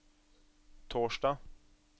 torsdag